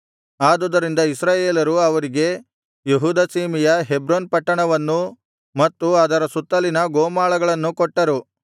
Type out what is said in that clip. ಆದುದರಿಂದ ಇಸ್ರಾಯೇಲರು ಅವರಿಗೆ ಯೆಹೂದ ಸೀಮೆಯ ಹೆಬ್ರೋನ್ ಪಟ್ಟಣವನ್ನೂ ಮತ್ತು ಅದರ ಸುತ್ತಲಿನ ಗೋಮಾಳಗಳನ್ನು ಕೊಟ್ಟರು